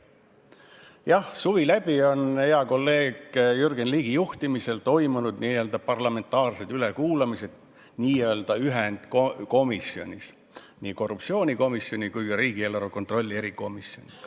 Jah, suvi läbi on hea kolleegi Jürgen Ligi juhtimisel toimunud n-ö parlamentaarsed ülekuulamised n-ö ühendkomisjonis, nii korruptsioonikomisjonis kui ka riigieelarve kontrolli erikomisjonis.